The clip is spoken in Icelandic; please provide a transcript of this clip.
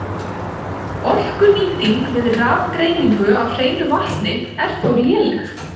Orkunýting við rafgreiningu á hreinu vatni er þó léleg.